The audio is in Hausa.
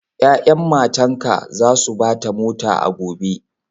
Ya'yan matanka za su ba ta mota a gobe.